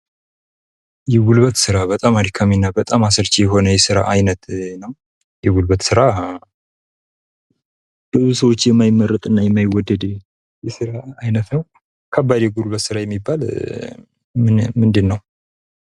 የጉልበት ስራ በጣም አድካሚና በጣም አሰልቺ የሆነ የስራ አይነት ነው ። የጉልበት ስራ ብዙ ሰዎች የማይመርጡት እና የማይወደድ የስራ አይነት ነው ። ከባድ የጉልበት ስራ የሚባል ምንድነው ?